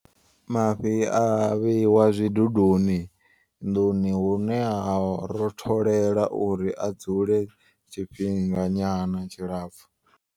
Mafhi a vheiwa zwiduduni nḓuni hune ha rotholela uri a dzule tshifhinga nyana tshilapfu.